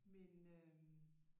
Men øh